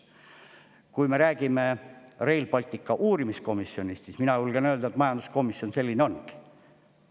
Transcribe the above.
Kui me räägime Rail Balticu uurimiskomisjonist, siis mina julgen öelda, et majanduskomisjon selline ongi.